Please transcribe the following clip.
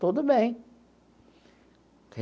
Tudo bem.